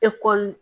Ekɔli